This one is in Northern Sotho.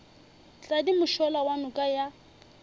tladi mošola wa noka ya